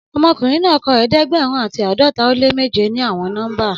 Ọmọkunrin naa kọ ẹdẹgbẹrun ati ãdọta o le meje ni awọn nọmba